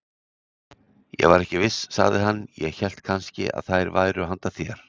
Ég var ekki viss, sagði hann, ég hélt kannski að þær væru handa þér.